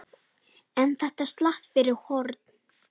En þetta slapp fyrir horn.